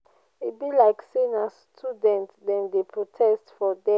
e be like sey na student dem dey protest for there.